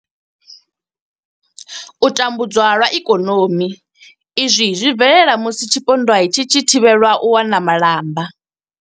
U tambudzwa lwa ikonomi Izwi zwi bvelela musi tshipondwa tshi tshi thivhelwa u wana malamba.